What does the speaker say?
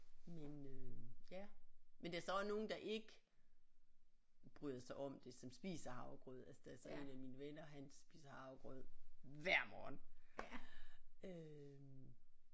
Men øh ja men der er så også nogen der ikke bryder sig om det som spiser havregrød altså der er så en af mine venner han spiser havregrød hver morgen øh